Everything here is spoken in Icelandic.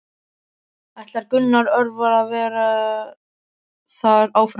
Ætlar Gunnar Örvar að vera þar áfram?